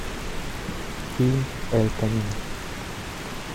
фильм эль камино